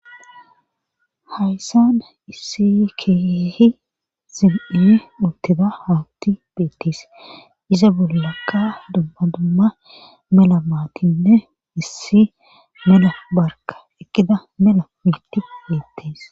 hayssana issi keehi zim7e utida haawti beettis iza bollakka dumba dumma mela maatinne issi mela barka ekkida mela miiti beettis